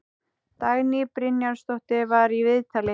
Dagný Brynjarsdóttir var í viðtali.